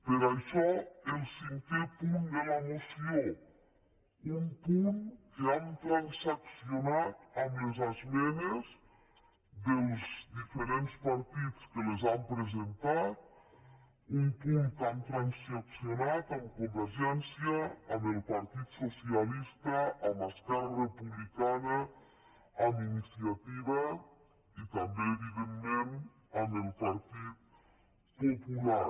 per això el cinquè punt de la moció un punt que hem transaccionat amb les esmenes dels diferents partits que les han presentat un punt que hem transaccionat amb convergència amb el partit socialista amb esquerra republicana amb iniciativa i també evidentment amb el partit popular